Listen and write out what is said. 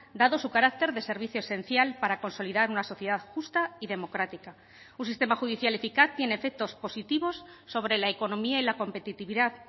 dado su carácter de servicio esencial para consolidar una sociedad justa y democrática un sistema judicial eficaz tiene efectos positivos sobre la economía y la competitividad